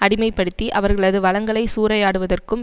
அடிமைப்படுத்தி அவர்களது வளங்களை சூறையாடுவதற்கும்